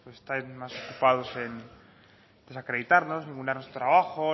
están más ocupados en desacreditarnos ningunear nuestro trabajo